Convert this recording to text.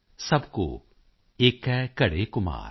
ਸਭ ਕੌ ਏਕੈ ਘੜੈ ਘੁਮਾਰ॥